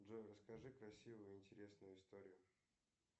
джой расскажи красивую интересную историю